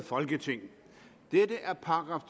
folketing dette er §